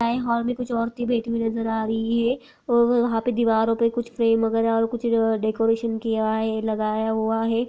Hall मे कुछ औरते बैठी हुई नजर आ रही हैं। अ व वहां पे दीवारों पे कुछ फ्रेम वगेरा और कुछ डेकरेशन किया है लगाया हुआ है।